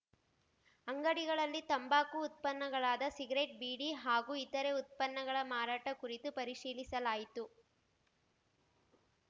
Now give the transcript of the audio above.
ಅಂಗಡಿಗಳಲ್ಲಿ ತಂಬಾಕು ಉತ್ಪನ್ನಗಳಾದ ಸಿಗರೇಟ್‌ ಬೀಡಿ ಹಾಗೂ ಇತರೆ ಉತ್ಪನ್ನಗಳ ಮಾರಾಟ ಕುರಿತು ಪರಿಶೀಲಿಸಲಾಯಿತು